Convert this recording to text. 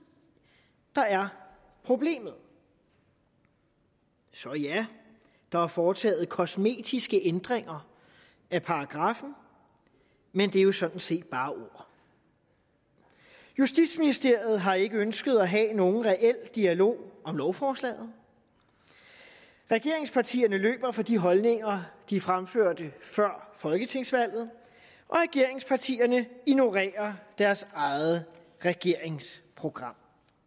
der er problemet så ja der er foretaget kosmetiske ændringer af paragraffen men det er jo sådan set bare ord justitsministeriet har ikke ønsket at have nogen reel dialog om lovforslaget regeringspartierne løber fra de holdninger de fremførte før folketingsvalget og regeringspartierne ignorerer deres eget regeringsprogram